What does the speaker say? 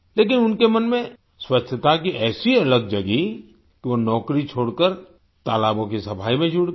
लेकिन उनके मन में स्वच्छता की ऐसी अलख जागी कि वो नौकरी छोड़कर तालाबों की सफाई में जुट गए